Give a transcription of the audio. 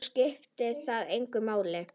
Þó skiptir það engu máli.